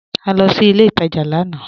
À lọ sí ilẹ̀ ìtajá lànà